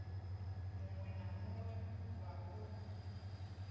muwe na muwe wa uno